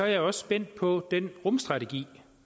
jeg også spændt på den rumstrategi